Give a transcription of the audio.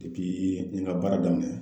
n ye ka baara daminɛ